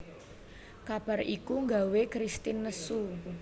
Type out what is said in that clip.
Kabar iku gawé Kristin nesu